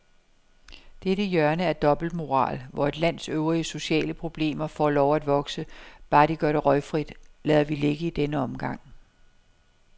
Dette hjørne af dobbeltmoral, hvor et lands øvrige sociale problemer får lov at vokse, bare de gør det røgfrit, lader vi ligge i denne omgang.